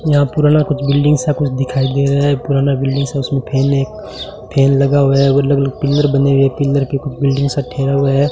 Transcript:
यह पुराना कुछ बिल्डिंग सा कुछ दिखाई दे रहा है पुराना बिल्डिंग सा उसमें फैन है फैन लगा हुआ है अलग अलग पिलर बने हुए हैं पिलर पे कुछ बिल्डिंग सा ठहरा हुआ है।